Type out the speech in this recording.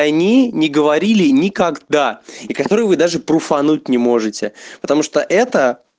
они не говорили никогда и которые вы даже пруфануть не можете потому что это